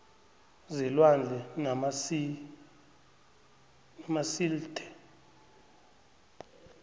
zelwandle namasil the